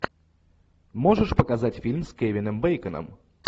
можешь показать фильм с кевином бэйконом